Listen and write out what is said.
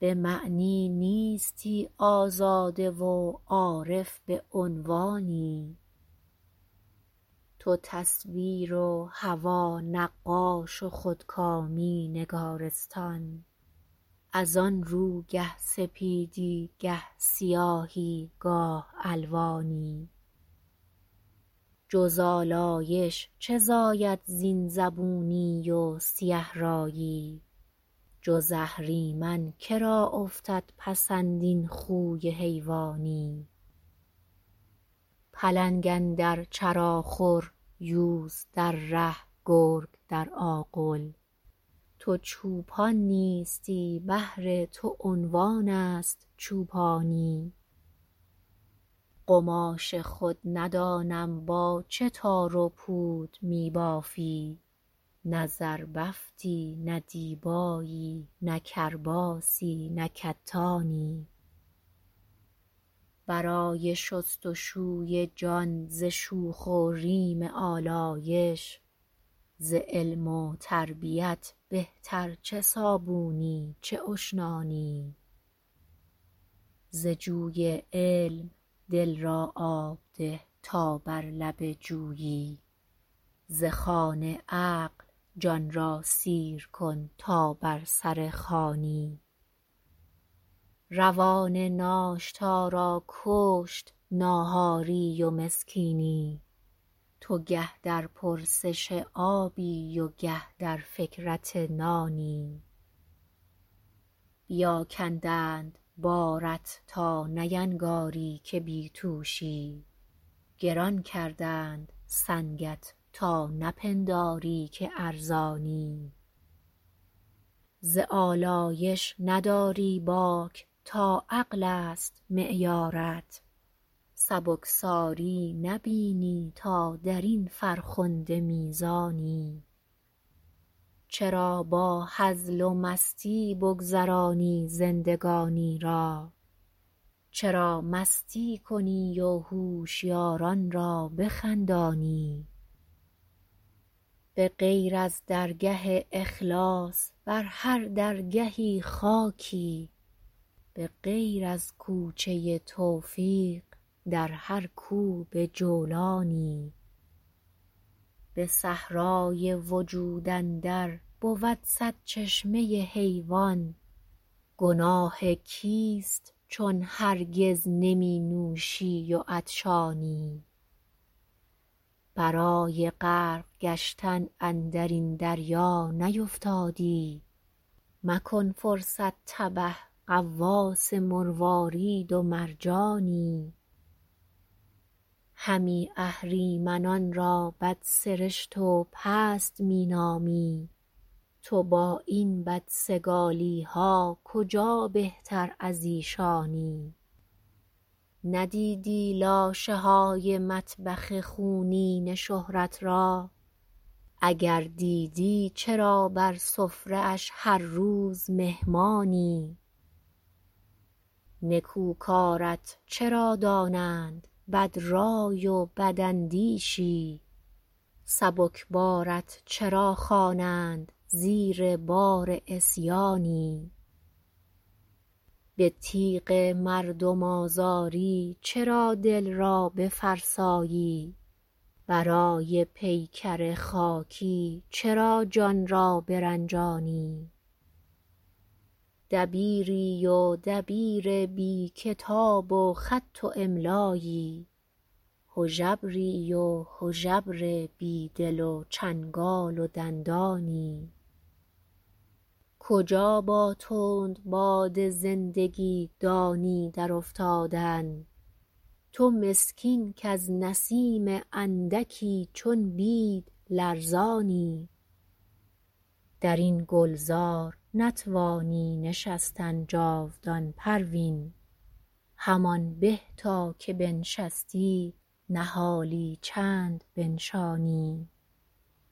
بعمنی نیستی آزاده و عارف بعنوانی تو تصویر و هوی نقاش و خودکامی نگارستان از آنرو گه سپیدی گه سیاهی گاه الوانی جز آلایش چه زاید زین زبونی و سیه رایی جز اهریمن کرا افتد پسند این خوی حیوانی پلنگ اندر چرا خور یوز در ره گرگ در آغل تو چوپان نیستی بهر تو عنوانست چوپانی قماش خود ندانم با چه تار و پود میبافی نه زربفتی نه دیبایی نه کرباسی نه کتانی برای شستشوی جان ز شوخ و ریم آلایش ز علم و تربیت بهتر چه صابونی چه اشنانی ز جوی علم دل را آب ده تا بر لب جویی ز خوان عقل جان را سیر کن تا بر سر خوانی روان ناشتا را کشت ناهاری و مسکینی تو گه در پرسش آبی و گه در فکرت نانی بیا کندند بارت تا نینگاری که بی توشی گران کردند سنگت تا نپنداری که ارزانی ز آلایش نداری باک تا عقلست معیارت سبکساری نبینی تا درین فرخنده میزانی چرا با هزل و مستی بگذرانی زندگانی را چرا مستی کنی و هوشیارانرا بخندانی بغیر از درگه اخلاص بر هر درگهی خاکی بغیر از کوچه توفیق در هر کو بجولانی بصحرای وجود اندر بود صد چشمه حیوان گناه کیست چون هرگز نمینوشی و عطشانی برای غرق گشتن اندرین دریا نیفتادی مکن فرصت تبه غواص مروارید و مرجانی همی اهریمنان را بدسرشت و پست مینامی تو با این بد سگالیها کجا بهتر ازیشانی ندیدی لاشه های مطبخ خونین شهرت را اگر دیدی چرا بر سفره اش هر روز مهمانی نکو کارت چرا دانند بدرای و بداندیشی سبکبارت چرا خوانند زیر بار عصیانی بتیغ مردم آزاری چرا دل را بفرسایی برای پیکر خاکی چرا جان را برنجانی دبیری و دبیر بی کتاب و خط و املایی هژبری و هژبر بیدل و چنگال و دندانی کجا با تند باد زندگی دانی در افتادن تو مسکین کاز نسیم اندکی چون بید لرزانی درین گلزار نتوانی نشستن جاودان پروین همان به تا که بنشستی نهالی چند بنشانی